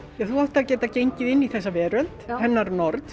þú átt að geta gengið inn í þessa veröld hennar nord